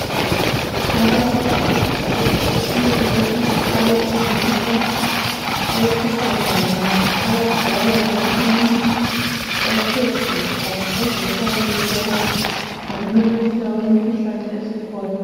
Abantu abahlukehlukeneyo abesilisa abesifazana abadala labancane bathe gwaqa bazixwayiswa ngokumemetheka kwemikhuhlane esikhona.